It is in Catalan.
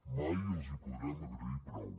mai els hi podrem agrair prou